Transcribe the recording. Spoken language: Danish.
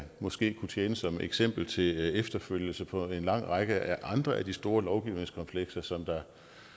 måske kunne tjene som eksempel til efterfølgelse på en lang række andre af de store lovgivningskomplekser som der